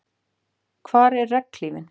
Hvar er regnhlífin?